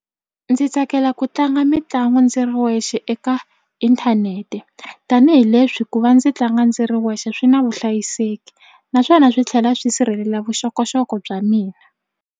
Ndzi tsakela ku tlanga mitlangu ndzi ri wexe eka inthanete tanihileswi ku va ndzi tlanga ndzi ri wexe swi na vuhlayiseki naswona swi tlhela swi sirhelela vuxokoxoko bya mina.